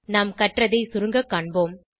நாம் கற்றதை சுருங்க காண்போம்